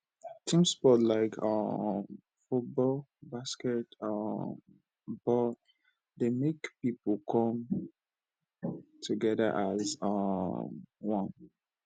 team sport like um football basket um ball dey make pipo come together as um one